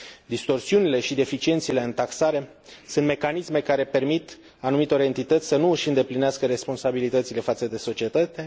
Distorsiunile și deficiențele în taxare sunt mecanisme care permit anumitor entități să nu își îndeplinească responsabilitățile față de societate.